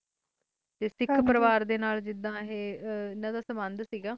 ਸਿੱਖ ਪਰਿਵਾਰ ਸਾਲ ਸੰਬੰ ਸੇ ਹਨ ਦਾ